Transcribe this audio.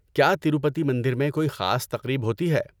کیا تروپتی مندر میں کوئی خاص تقریب ہوتی ہے؟